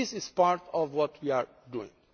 firms. This is part of what we are